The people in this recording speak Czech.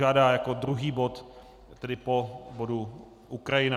Žádá jako druhý bod, tedy po bodu Ukrajina.